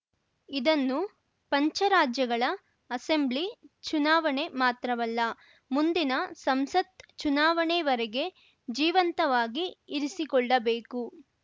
ಇದನ್ನು ಪಂಚರಾಜ್ಯಗಳ ಅಸೆಂಬ್ಲಿ ಚುನಾವಣೆ ಮಾತ್ರವಲ್ಲ ಮುಂದಿನ ಸಂಸತ್‌ ಚುನಾವಣೆ ವರೆಗೆ ಜೀವಂತವಾಗಿ ಇರಿಸಿಕೊಳ್ಳಬೇಕು